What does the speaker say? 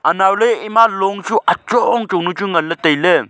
anaw ley ema long chu achong chong nuchu nganley tailey.